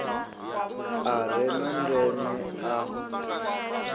a re na ndeme a